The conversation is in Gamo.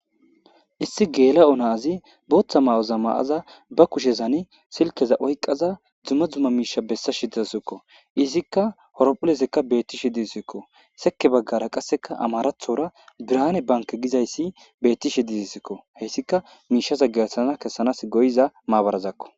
Issi gela'o nazi botha mayoza mayada ba kushiyan silkiya oykada duma duma misheza besashe dawusiko izika horphilizika betishe desiko seki bagara qaseka amharathora birane banke gizayssi betishe dizasko hesika mishaza gelthana kesana go'iza mabarazako